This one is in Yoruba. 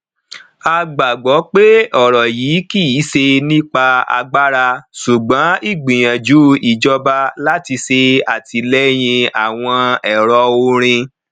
a gbagbọ pé ọrọ yìí kìí ṣe nípa agbára ṣùgbọn ìgbìyànjú ìjọba láti ṣe àtìlẹyìn àwọn ẹrọ orin